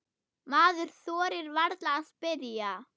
Maður þorir varla að spyrja.